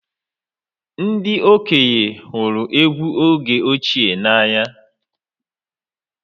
Ndị okenye hụrụ egwú oge ochie n’anya